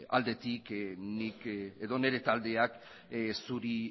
aldetik nire taldeak zuri